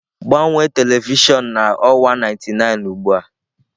Gbanwee telivishọn na ọwa 99 ugbu a!